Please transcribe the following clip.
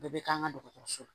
Bɛɛ bɛ k'an ka dɔgɔtɔrɔso la